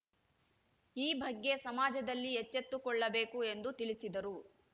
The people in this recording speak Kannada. ಈ ಬಗ್ಗೆ ಸಮಾಜದಲ್ಲಿ ಎಚ್ಚೆತ್ತುಕೊಳ್ಳಬೇಕು ಎಂದು ತಿಳಿಸಿದರು